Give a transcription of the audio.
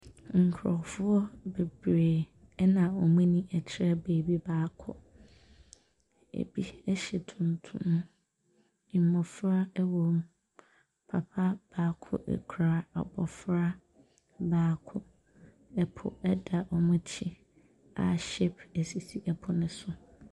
Nkurɔfoɔ bebree na wɔn ani kyerɛ baabi baako. Ɛbi hyɛ tuntum. Mmɔfra wɔ mu. Papa baako kura abɔfra baako. Ɛpo da wɔn akyi a ship sisi po no so.